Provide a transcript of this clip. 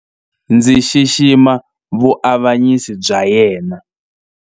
Ndzi xixima vuavanyisi bya yena.